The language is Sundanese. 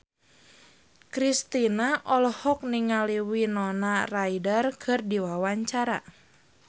Kristina olohok ningali Winona Ryder keur diwawancara